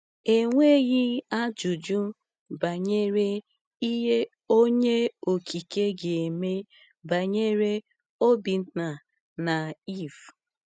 Enweghị ajụjụ banyere ihe Onye Okike ga-eme banyere Obinna na Eve.